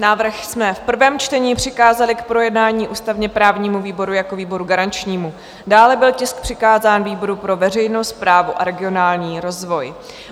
Návrh jsme v prvém čtení přikázali k projednání ústavně-právnímu výboru jako výboru garančnímu, dále byl tisk přikázán výboru pro veřejnou správu a regionální rozvoj.